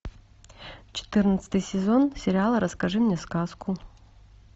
четырнадцатый сезон сериала расскажи мне сказку